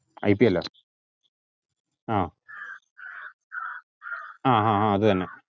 I P എല്ലാ ആഹ് ആഹ് അത്എന്നെ